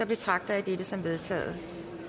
betragter jeg dette som vedtaget